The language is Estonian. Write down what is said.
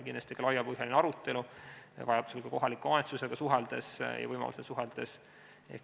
Kindlasti toimub laiapõhjaline arutelu, vajaduse ja võimaluse korral ka kohaliku omavalitsusega suheldes.